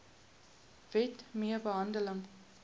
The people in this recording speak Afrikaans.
wet mee gehandel